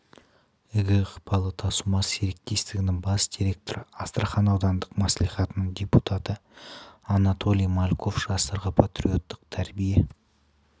игі ықпалы тасумар серіктестігінің бас директоры астрахан аудандық мәслихатының депутаты анатолий мальков жастарға патриоттық тәрбие